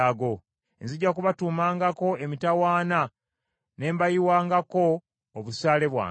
Nzija kubatuumangako emitawaana ne mbayiwangako obusaale bwange.